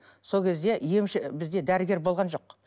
сол кезде бізде дәрігер болған жоқ